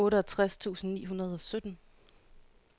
otteogtres tusind ni hundrede og sytten